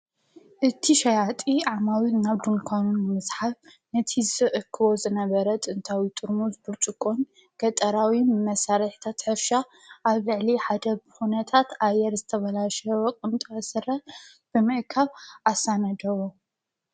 እቲ ሸያጢ ዓማዊት ናብ ዱንኳኑ ንምስሓብ ነቲ ዝእክቦ ዝነበረ ጥንታዊ ጥርሙስ ብርጭ ቖን ገጠራዊ መሳርሕታት ሕርሻ ኣብ ልዕሊ ሓደ ብኩነታት ኣየር ዝተባላሽወ ቁምጣ ስረ ብምእካብ ኣሳናደዎ።